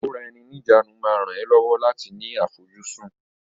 Ìkóra-ẹni-ní-ìjánu máa ràn ẹ́ lọ́wọ́ láti ní àfojúsùn.